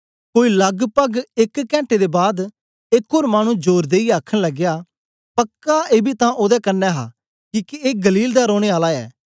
कोई लगपग एक कैंटे बाद एक ओर मानु जोर देईयै आखन लगया पक्का एबी तां ओदे कन्ने हा किके ए गलील दा रौने आला ऐ